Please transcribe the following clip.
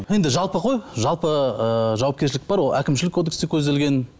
енді жалпы ғой жалпы ыыы жауапкершілік бар ол әкімшілік кодексте көзделген